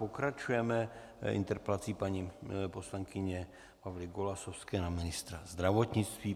Pokračujeme interpelací paní poslankyně Pavly Golasowské na ministra zdravotnictví.